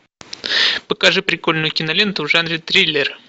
покажи прикольную киноленту в жанре триллер